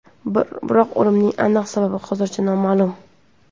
Biroq o‘limining aniq sababi hozircha noma’lum.